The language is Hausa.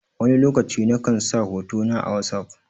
Wani lokaci na kan sa hoto na a wosof.